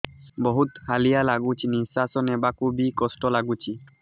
ବହୁତ୍ ହାଲିଆ ଲାଗୁଚି ନିଃଶ୍ବାସ ନେବାକୁ ଵି କଷ୍ଟ ଲାଗୁଚି